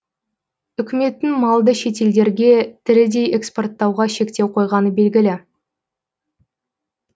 үкіметтің малды шетелдерге тірідей экспорттауға шектеу қойғаны белгілі